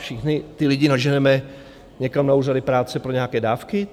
Všechny ty lidi naženeme někam na úřady práce pro nějaké dávky?